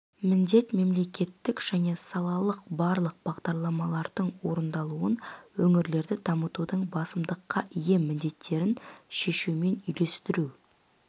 міндет мемлекеттік және салалық барлық бағдарламалардың орындалуын өңірлерді дамытудың басымдыққа ие міндеттерін шешумен үйлестіру